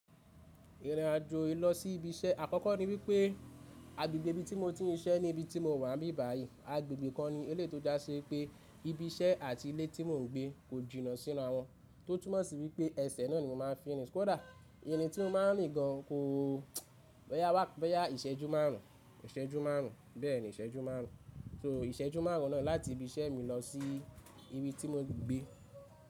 Ìrìnàjò ìlọsí ibi iṣẹ́ àkọ́kọ́ ni wípé agbègbè ibi tí mo ti ń ṣe ní ibi tí mo wà bí báyìí. Agbègbè kan ni ilé tó jáse pé ibi iṣẹ́ àti ilé tí mò ń gbé kò jìnnà sínu wọn, tó túmọ̀sí wípé ẹsẹ̀ náà ni mo máa fi ń rìn. Kódà èyí ni tí mo máa ń rìn gan ko bẹ́yà ìṣẹ́jú márùn ún, bẹ́ẹ̀ni ìṣẹ́jú márùn ún. So ìṣẹ́jú márùn ún náà láti ibi iṣẹ́ mi lọ sí ibi tí mo gbé.